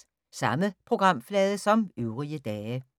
Samme programflade som øvrige dage